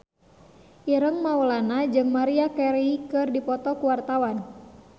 Ireng Maulana jeung Maria Carey keur dipoto ku wartawan